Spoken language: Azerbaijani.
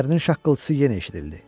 Dişlərinin şaqqıltısı yenə eşidildi.